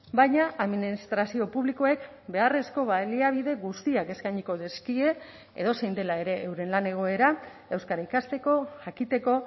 baina administrazio publikoek beharrezko baliabide guztiak eskainiko dizkie edozein dela ere euren lan egoera euskara ikasteko jakiteko